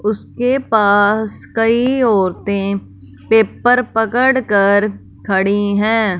उसके पास कई औरतें पेपर पड़कर खड़ी हैं।